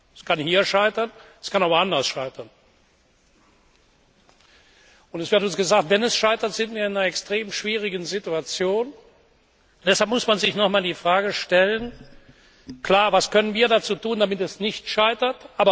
Es kann hier scheitern, es kann aber auch woanders scheitern. Und es wird uns gesagt Wenn es scheitert, sind wir in einer extrem schwierigen Situation. Deshalb muss man sich nochmals die Frage stellen Was können wir tun, damit es nicht scheitert?